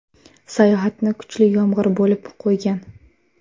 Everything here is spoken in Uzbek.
Sayohatni kuchli yomg‘ir bo‘lib qo‘ygan.